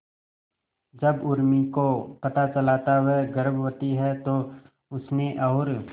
जब उर्मी को पता चला था वह गर्भवती है तो उसने और